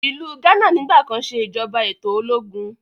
Ilú Ghana nigbakan se ìjọba eto ológun.